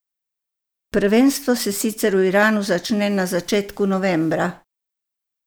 Prvenstvo se sicer v Iranu začne na začetku novembra.